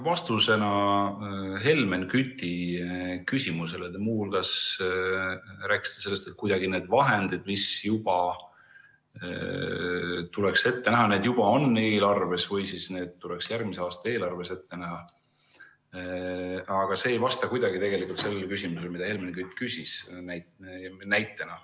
Vastusena Helmen Küti küsimusele te muu hulgas rääkisite sellest, et need vahendid, mis tuleks ette näha, need juba on eelarves või siis need tuleks järgmise aasta eelarves ette näha, aga see ei vasta kuidagi tegelikult sellele küsimusele, mida Helmen Kütt küsis.